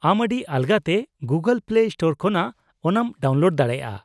-ᱟᱢ ᱟᱹᱰᱤ ᱟᱞᱜᱟᱛᱮ ᱜᱩᱜᱚᱞ ᱯᱞᱮ ᱥᱴᱳᱨ ᱠᱷᱚᱱᱟᱜ ᱚᱱᱟᱢ ᱰᱟᱣᱩᱱᱞᱳᱰ ᱫᱟᱲᱮᱭᱟᱜᱼᱟ ᱾